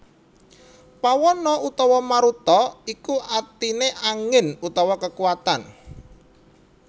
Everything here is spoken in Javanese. Pawana utawa Maruta iku artine angin utawa kekuwatan